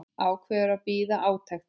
Ákveður að bíða átekta.